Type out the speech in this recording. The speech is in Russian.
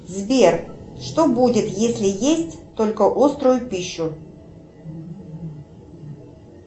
сбер что будет если есть только острую пищу